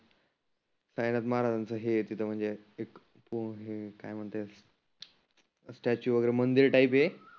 साईनाथ महाराजांच हे आहे तीथं म्हणजे एक पोहे काय म्हणतात. स्टॅचू वगैरे मंदिर टाईप आहे.